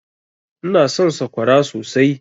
Ina son sakwara sosai.